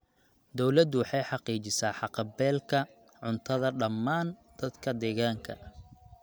Dawladdu waxay xaqiijisaa haqab-beelka cuntada dhammaan dadka deegaanka.